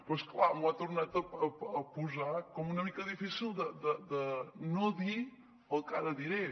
però és clar m’ho ha tornat a posar com una mica difícil de no dir el que ara diré